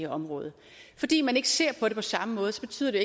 område fordi man ikke ser på det på samme måde betyder det